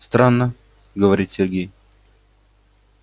странно говорит сергей